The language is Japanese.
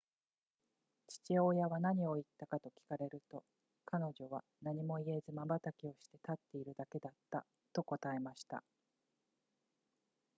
父親は何と言ったかと聞かれると彼女は何も言えずまばたきをして立っているだけだったと答えました